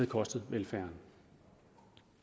kostet velfærden